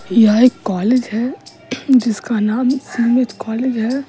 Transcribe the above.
यह एक कॉलेज है जिसका नाम सीमेज कॉलेज है।